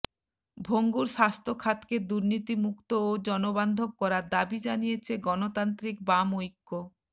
ভঙ্গুর স্বাস্থ্যখাতকে দুর্নীতিমুক্ত ও জনবান্ধব করার দাবি জানিয়েছে গণতান্ত্রিক বাম ঐক্য